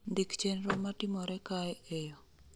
Ndik chenro ma timore kae e yo